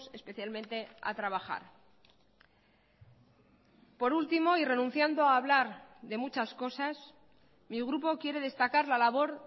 especialmente a trabajar por último y renunciando a hablar de muchas cosas mi grupo quiere destacar la labor